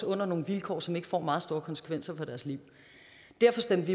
under nogle vilkår som ikke får meget store konsekvenser for deres liv derfor stemte